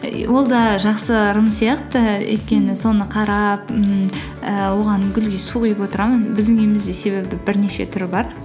ол да жақсы ырым сияқты өйткені соны қарап ммм ііі оған гүлге су құйып отырамын біздің үйімізде себебі бірнеше түрі бар